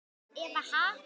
Eva: Ha?